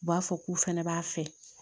U b'a fɔ k'u fɛnɛ b'a fɛ